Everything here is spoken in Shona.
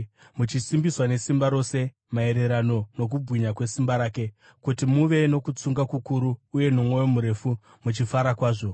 muchisimbiswa nesimba rose maererano nokubwinya kwesimba rake kuti muve nokutsunga kukuru uye nomwoyo murefu, muchifara kwazvo